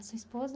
E a sua esposa?